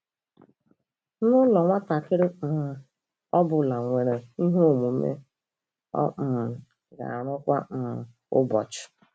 N'ụlọ, nwatakịrị um ọ bụla nwere ihe omume ọ um ga-arụ kwa um ụbọchị.